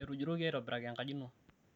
etujutoki aitobiraki enkaji ino